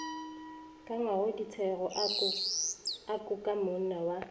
ka ngwakongdisego a kukamonna wa